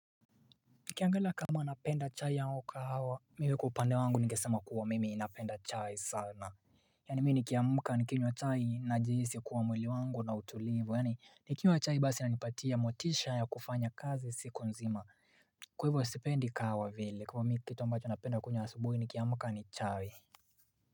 Nikiangalia kama napenda chai au kahawa mimi kwa upande wangu ningesema kuwa mimi napenda chai sana Yaani mimi nikimka nikinywa chai najihisi kuwa mwili wangu una utulivu yaani nikinywa chai basi inanipatia motisha ya kufanya kazi siku nzima Kwa hivyo sipendi kahawa vile kwa mimi kitu ambacho napenda kunywa asubuhi nikiamka ni chai.